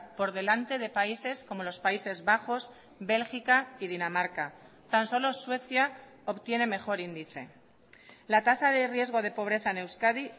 por delante de países como los países bajos bélgica y dinamarca tan solo suecia obtiene mejor índice la tasa de riesgo de pobreza en euskadi